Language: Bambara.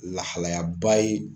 Lahalayaba ye